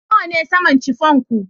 Nawa ne saman chiffon ku